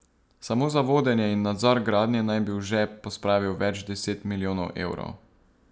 Samo za vodenje in nadzor gradnje naj bi v žep pospravil več deset milijonov evrov.